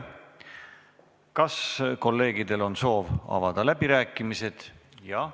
Kas kolleegidel on soovi avada läbirääkimisi?